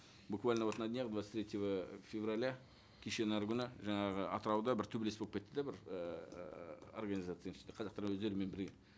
буквально вот на днях двадцать третьего февраля кешенің әрі күні жаңағы атырауда бір төбелес болып кетті де бір ііі организацияның ішінде қазақтар өздерімен бірге